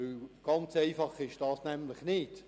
Ganz einfach ist es nämlich nicht.